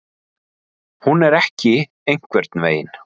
Hún er ekki einhvern veginn.